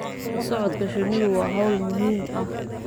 La socodka shinnidu waa hawl muhiim ah.